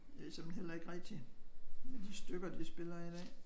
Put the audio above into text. Jeg ved såmen heller ikke rigtig med de stykker de spiller i dag